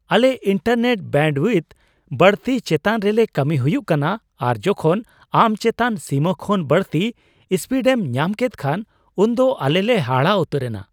ᱟᱞᱮ internet bandwidth ᱵᱟᱹᱲᱛᱤᱭ ᱪᱮᱛᱟᱱ ᱨᱮᱞᱮ ᱠᱟᱹᱢᱤ ᱦᱩᱭᱩᱜ ᱠᱟᱱᱟ ᱟᱨ ᱡᱚᱠᱷᱚᱱ ᱟᱢ ᱪᱮᱛᱟᱱ ᱥᱤᱢᱟᱹ ᱠᱷᱚᱱ ᱵᱟᱹᱲᱛᱤ ᱥᱯᱤᱰ ᱮᱢ ᱧᱟᱢ ᱠᱮᱫ ᱠᱷᱟᱱ, ᱩᱱᱫᱚ ᱟᱞᱮ ᱞᱮ ᱦᱟᱦᱟᱲᱟ ᱩᱛᱟᱹᱨᱮᱱᱟ ᱾